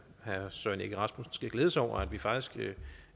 herre søren egge rasmussen skal glæde sig over at vi faktisk